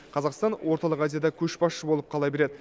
қазақстан орталық азияда көшбасшы болып қала береді